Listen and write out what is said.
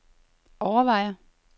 overvejer